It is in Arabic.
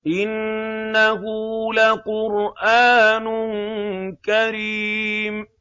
إِنَّهُ لَقُرْآنٌ كَرِيمٌ